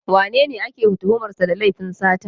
Wanene ake tuhumar sa da laifin sata?